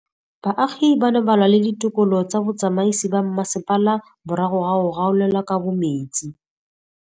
Baagi ba ne ba lwa le ditokolo tsa botsamaisi ba mmasepala morago ga go gaolelwa kabo metsi